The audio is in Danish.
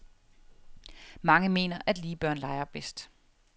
Mange mener, at lige børn leger bedst.